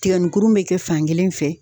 Tigɛnikurun be kɛ fankelen fɛ